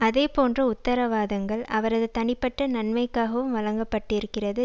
அதே போன்ற உத்தரவாதங்கள் அவரது தனிப்பட்ட நன்மைக்காகவும் வழங்கப்பட்டிருக்கிறது